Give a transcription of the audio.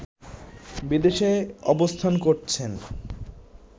বিদেশে অবস্থান করছেন